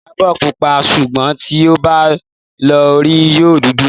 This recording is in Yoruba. Ìyábò púpà súgbòn ti ò bà lò òrí yìó dúdù.